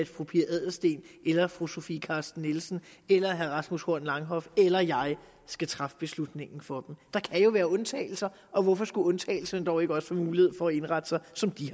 fru pia adelsteen eller fru sofie carsten nielsen eller herre rasmus horn langhoff eller jeg ikke skal træffe beslutningen for dem der kan jo være undtagelser og hvorfor skulle undtagelser dog ikke også få mulighed for at indrette sig som de